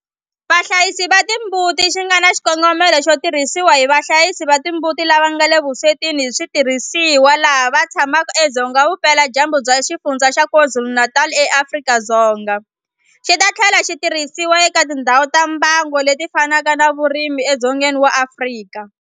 Vahlayisi va timbuti xi nga na xikongomelo xo tirhisiwa hi vahlayisi va timbuti lava nga le vuswetini hi switirhisiwa lava tshamaka edzonga vupeladyambu bya Xifundzha xa KwaZulu-Natal eAfrika-Dzonga, xi ta tlhela xi tirhisiwa eka tindhawu ta mbango leti fanaka ta vurimi edzongeni wa Afrika.